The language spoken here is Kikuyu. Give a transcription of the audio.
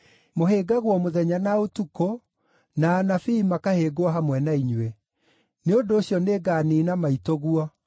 Mũhĩngagwo mũthenya na ũtukũ, na anabii makahĩngwo hamwe na inyuĩ. Nĩ ũndũ ũcio nĩnganiina maitũguo.